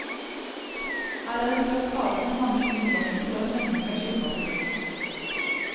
Her er en flott hage, med mange fine blomster og en mengde med skilpadder.